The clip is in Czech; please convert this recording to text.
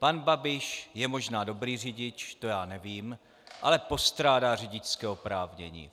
Pan Babiš je možná dobrý řidič, to já nevím, ale postrádá řidičské oprávnění.